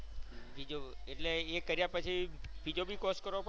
બીજો એટલે એ કર્યા પછી બીજો બી course કરવો પડે?